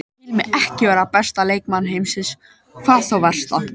Ég tel mig ekki vera besta leikmann heims, hvað þá versta.